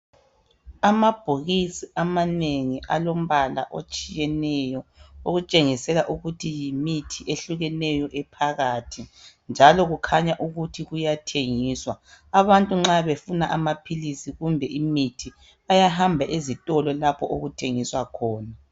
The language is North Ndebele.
Amabhokisi amanengi alombala otshiyeneyo okutshengisela ukuthi yimithi eyehlukeneyo phakathi njalo kukhanya ukuthi kuyathengiswa. Abantu nxa befuna amaphilisi kumbe imithi bayahamba ezitolo lapho okuthengiswa khona.